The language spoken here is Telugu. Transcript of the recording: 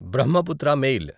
బ్రహ్మపుత్ర మెయిల్